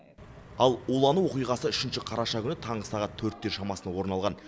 ал улану оқиғасы үшінші қараша күні таңғы сағат төрттің шамасында орын алған